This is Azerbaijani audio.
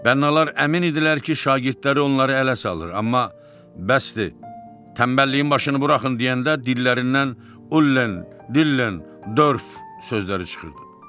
Bənnəlar əmin idilər ki, şagirdləri onları ələ salır, amma bəsdir, tənbəlliyin başını buraxın deyəndə dillərindən ullən, dillən, dörf sözləri çıxırdı.